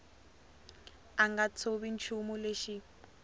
a nga tshovi nchumu lexi